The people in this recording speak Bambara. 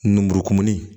Numu kumuni